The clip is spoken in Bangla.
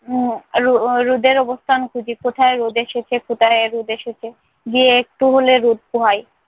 উহ রো~ রোদের অবস্থান খুঁজি, কোথায় রোদ এসেছে, কোথায় রোদ এসেছে? গিয়ে একটু হলে রোদ পোহাই।